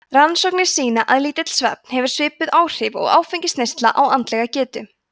rannsóknir sýna að lítill svefn hefur svipuð áhrif og áfengisneysla á andlega getu